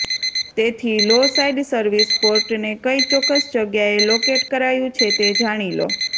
તેથી low side service પોર્ટને કઇ ચોક્કસ જગ્યાએ લોકેટ કરાયું છે તે જાણી લો